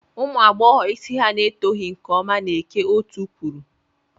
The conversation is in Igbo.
Umunwaanyi isi ha na-etoghi nke ọma na-eke otú kwuru.